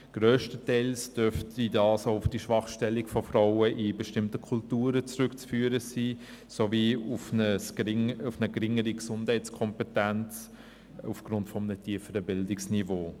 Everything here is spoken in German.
Grösstenteils dürfte dieser auch auf die schwache Stellung der Frauen in bestimmten Kulturen zurückzuführen sein, sowie auf eine geringere Gesundheitskompetenz aufgrund eines tieferen Bildungsniveaus.